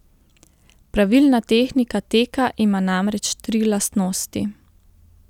Pravilna tehnika teka ima namreč tri lastnosti.